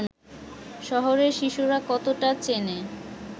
শহরের শিশুরা কতটা চেনে